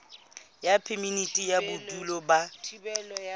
ya phemiti ya bodulo ba